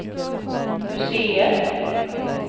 museet